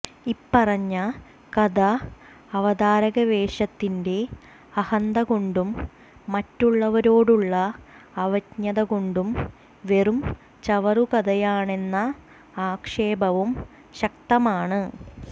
ഇപ്പറഞ്ഞ കഥ അവതാരകവേഷത്തിന്റെ അഹന്തകൊണ്ടും മറ്റുള്ളവരോടുള്ള അവജ്ഞകൊണ്ടും വെറും ചവറുകഥയാണെന്ന ആക്ഷേപവും ശക്തമാണ്